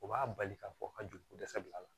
O b'a bali k'a fɔ ka joliko dɛsɛ bila a la